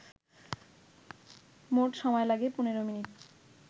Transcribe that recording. মোট সময় লাগে ১৫মিনিট